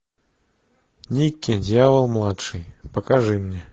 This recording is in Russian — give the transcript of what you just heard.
никки дьявол младший покажи мне